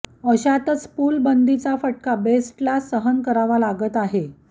अशातच पूलबंदीचा फटका बेस्टला सहन करावा लागत आहे